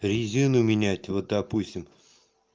резину менять вот допустим